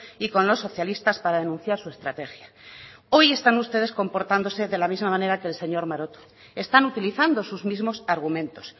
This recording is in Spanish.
y con los socialistas para denunciar su estrategia hoy están ustedes comportándose de la misma manera que el señor maroto están utilizando sus mismos argumentos